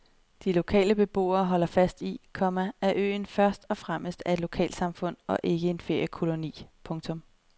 De lokale beboere holder fast i, komma at øen først og fremmest er et lokalsamfund og ikke en feriekoloni. punktum